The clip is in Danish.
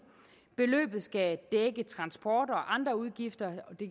beløbet skal dække transport og andre udgifter og det